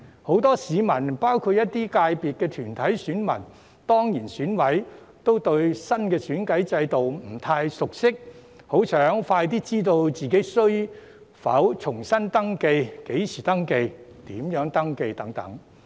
很多市民包括一些界別的團體選民、當然選委都對新的選舉制度不太熟悉，很想盡快知道自己需否重新登記、何時登記和如何登記。